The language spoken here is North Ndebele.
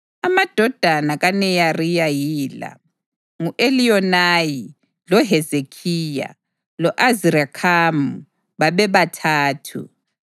Amadodana kaNeyariya yila: ngu-Eliyonayi, loHezekhiya, lo-Azirikhamu, bebathathu.